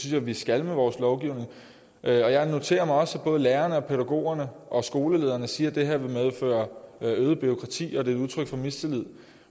jeg vi skal med vores lovgivning jeg noterer mig at både lærerne og pædagogerne og skolelederne siger at det her vil medføre øget bureaukrati og det et udtryk for mistillid